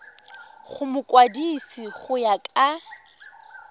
go mokwadise go ya ka